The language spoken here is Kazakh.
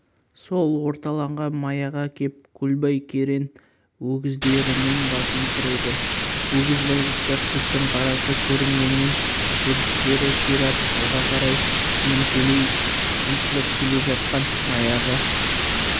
сол орталанған маяға кеп көлбай керең өгіздерінің басын тіреді өгіз байғұстар шөптің қарасы көрінгеннен жүрістері ширап алға қарай ентелей ұмтылып келе жатқан маяға